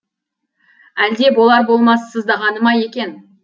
әлде болар болмас сыздағаны ма екен